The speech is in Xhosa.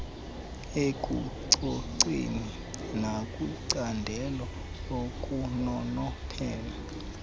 ekucoceni nakwincandelo lokunonophela